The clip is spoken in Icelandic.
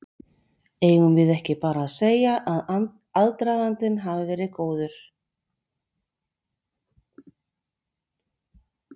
Eigum við ekki bara að segja að aðdragandinn hafi verið góður?